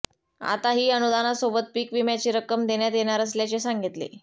आताही अनुदानासोबत पीक विम्याची रक्कम देण्यात येणार असल्याचे सांगितले